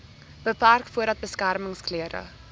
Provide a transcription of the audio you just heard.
beperk voordat beskermingsklere